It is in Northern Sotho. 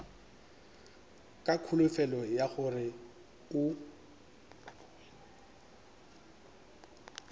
ka kholofelo ya gore o